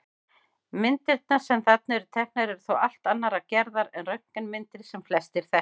Myndirnar sem þarna eru teknar eru þó allt annarrar gerðar en röntgenmyndir sem flestir þekkja.